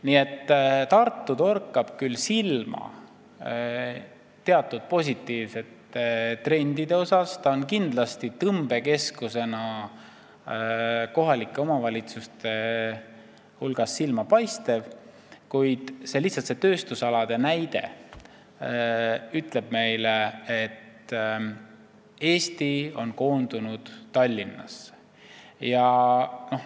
Nii et Tartu torkab küll silma teatud positiivsete trendide poolest, ta on kindlasti tõmbekeskusena silmapaistev kohalike omavalitsuste hulgas, kuid tööstusalade uuring ütleb meile, et Eesti on koondunud Tallinnasse.